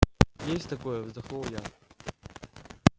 есть такое вздохнул я